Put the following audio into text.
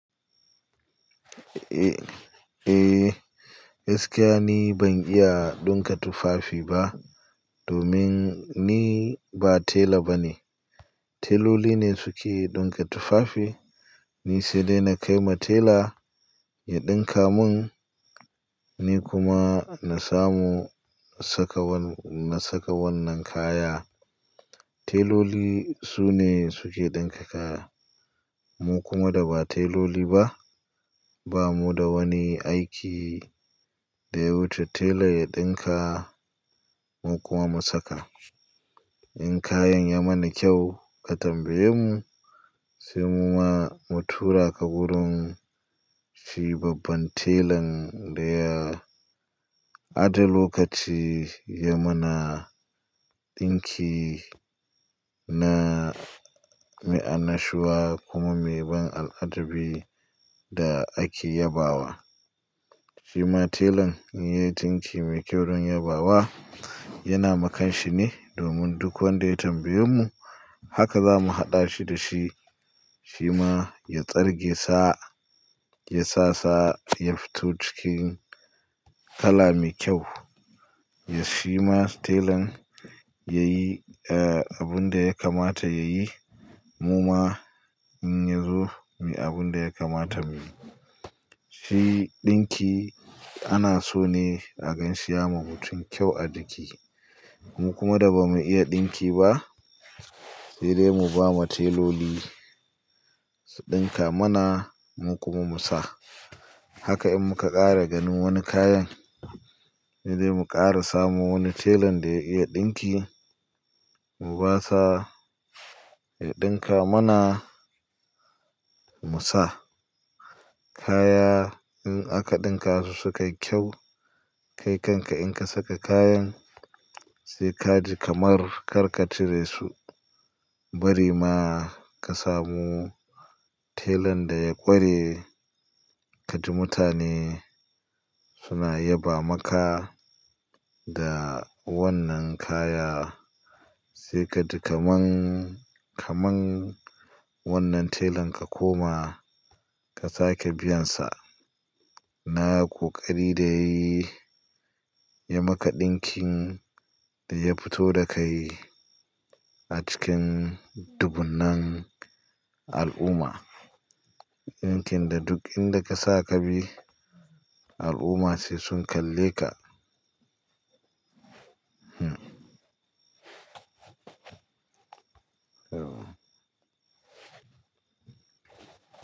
Eh, eh gaskiya ni ban iya ɗinka tufafi ba domin ni ba tela bane. Teloli ne suke ɗinka tufafi, ni sai dai na kai ma tela ya ɗinka mun, ni kuma na samu na saka wannan, na saka wannan kaya. Teloli sune suke ɗinka kaya, mu kuma da ba teloli ba, bamu da wani aiki da ya wuce tela ya ɗinka mu kuma mu saka. In kayan ya mana kyau a tambaye mu, sai mu ma mu tura ka wurin shi babban telan da ya aje lokaci ya mana ɗinki na, mai annashuwa kuma mai ban al'ajabi da ake yabawa. Shi ma telan in ya yi ɗinki mai kyau zan yabawa, yana ma kanshi ne domin duk wanda ya tambaye mu haka za mu haɗa shi da shi, shi ma ya tsarge sa, ya sa sa ya fito cikin kala mai kyau. Ya, shi ma telan ya yi abun da ya kamata ya yi, mu ma in ya zo, muyi abun da ya kamata mu yi. Shi ɗinki ana so ne a gan shi ya ma mutum kyau a jiki. Mu kuma da ba mu iya ɗinki ba, sai dai mu ba ma teloli su ɗinka mana mu kuma mu sa. Haka in muka ƙara ganin wani kayan, sai dai mu ƙara samo wani telan da ya iya ɗinki mu basa ya ɗinka mana musa. Kaya in aka ɗinka su sukai kyau, kai kanka in ka saka kayan, sai ka ji kamar karka cire su. Bari ma ka samu telan da ya ƙware, ka ji mutane suna yaba maka da wannan kaya. Sai ka ji kaman, kaman wannan telan ka koma ka sake biyan sa. Na ƙoƙari da yayi ya maka ɗinkin da ya fito da kai a cikin dubunnan al'umma. Ɗinkin da duk inda ka sa ka bi, al'umma sai sun kalle ka.